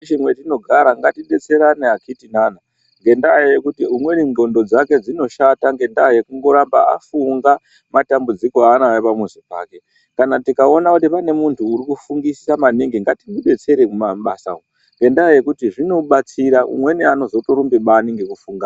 ...she mwatinogara ngatidetserane akitinana ngendaa yekuti umweni ndxondo dzske dzinoshata ngendaa yekundoramba afunga matambudziko aanawo pamuzi pake. Kana tikaona kuti pane muntu urikufungisisa maningi ngatimudetsere mumabasa umwu. Ngendaa yekuti zvinobatsira, umweni anozotorumbe bani ngekufunga...